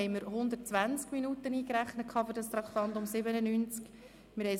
Ursprünglich hatten wir für das Traktandum 97 120 Minuten eingerechnet.